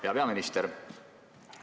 Hea peaminister!